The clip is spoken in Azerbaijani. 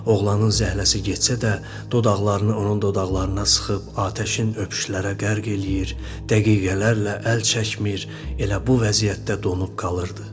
Oğlanın zəhləsi getsə də, dodaqlarını onun dodaqlarına sıxıb, atəşin öpüşlərə qərq eləyir, dəqiqələrlə əl çəkmir, elə bu vəziyyətdə donub qalırdı.